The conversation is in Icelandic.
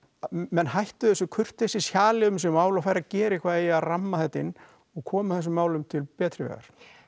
menn hættu þessu um þessi mál og færu að gera eitthvað í að ramma þetta inn og koma þessum málum til betri vegar